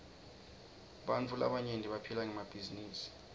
bantfu labaryenti baphila ngemabhizinisi